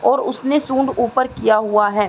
और उसने सूंड ऊपर किया हुवा है।